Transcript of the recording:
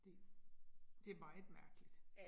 Det, det meget mærkeligt